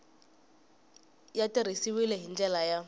ya tirhisiwile hi ndlela ya